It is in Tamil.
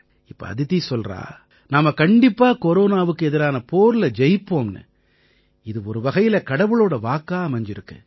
இப்ப அதிதி சொல்றா நாம கண்டிப்பா கொரோனாவுக்கு எதிரான போர்ல ஜெயிப்போம்னு இது ஒருவகையில கடவுளோட வாக்கா அமைஞ்சிருக்கு